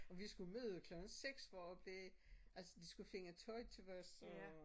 Og vi skulle møde klokken 6 for at blive det altså de skulle finde tøj os og